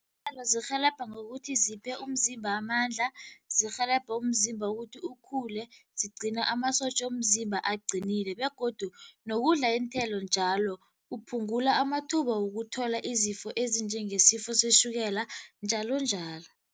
zirhelebha ngokuthi ziphe umzimba amandla, zirhelebhe umzimba ukuthi ukhule, zigcina amasotja womzimba aqinile begodu nokudla iinthelo njalo kuphungula amathuba wokuthola izifo ezinjengesifo setjhukela njalonjalo.